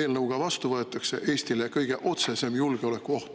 eelnõu ka vastu võetakse – Eestile kõige otsesem julgeolekuoht.